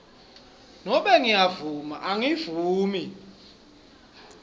nobe ngiyavuma angivumi